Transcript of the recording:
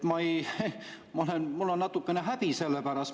Mul on natukene häbi selle pärast.